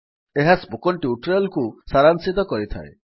ଏହା spoken tutorial କୁ ସାରାଂଶିତ କରିଥାଏ